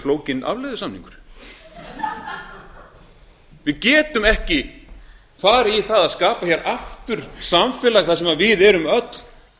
flókinn afleiðusamningur við getum ekki farið í það að skapa hér aftur samfélag þar sem við erum öll